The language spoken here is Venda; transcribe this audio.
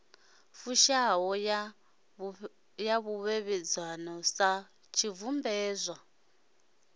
fushaho ya ṱhoḓea dza tshibveledzwa